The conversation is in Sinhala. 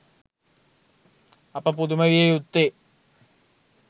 අප පුදුම විය යුත්තේ